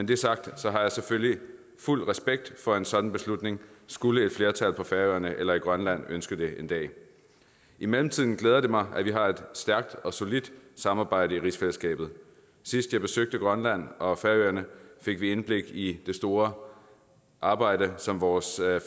det sagt har jeg selvfølgelig fuld respekt for en sådan beslutning skulle et flertal på færøerne eller i grønland ønske det en dag i mellemtiden glæder det mig at vi har et stærkt og solidt samarbejde i rigsfællesskabet sidst vi besøgte grønland og færøerne fik vi indblik i det store arbejde som vores